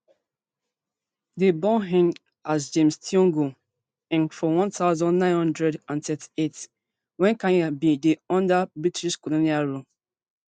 dem born ngg as james thiongo ngg for one thousand, nine hundred and thirty-eight wnen kenya bin dey under british colonial rule